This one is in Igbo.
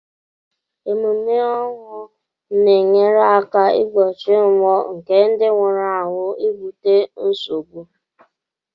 Emume ọnwụ na enyere aka igbochi mmụọ nke ndị nwụrụ anwụ ibute nsogbu.